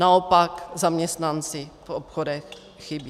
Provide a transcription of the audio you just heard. Naopak zaměstnanci v obchodech chybí.